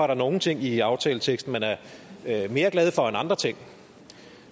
der nogle ting i aftaleteksten man er mere glad for end andre ting